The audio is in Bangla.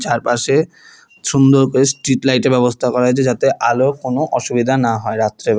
চারপাশে সুন্দর করে স্ট্রিটলাইট -এর ব্যবস্থা করা হয়েছে যাতে আলো কোনও অসুবিধা না হয় রাত্রেবেল--